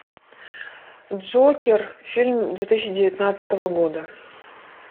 джокер фильм две тысячи девятнадцатого года